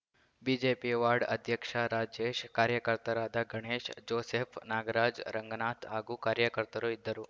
BJP ward ಅಧ್ಯಕ್ಷ ರಾಜೇಶ್‌ ಕಾರ್ಯಕರ್ತರಾದ Ganesh Joseph Nagaraj Ranganath ಹಾಗೂ ಕಾರ್ಯಕರ್ತರು ಇದ್ದರು